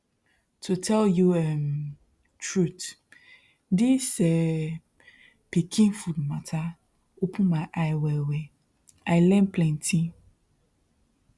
to tell you um truth this um pikin food matter open my eye wellwell i learn plenty